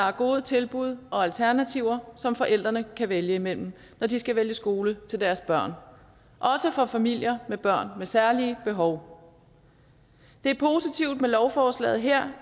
er gode tilbud og alternativer som forældrene kan vælge imellem når de skal vælge skole til deres børn også for familier med børn med særlige behov det er positivt med lovforslaget her